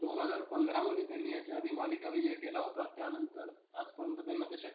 दोन हजार पंधरामध्ये याच्याआधी त्यांनी मालिका विजय केला होता. त्यानंतर आजपर्यंत त्यांना ते शक्य